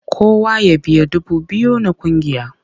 Kowa ya biya dubu biyu na ƙungiya!